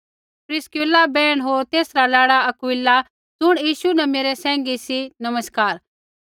प्रिस्किला बैहण होर तेसरा लाड़ा अक्विला ज़ुण यीशु न मेरै सैंघी सी नमस्कार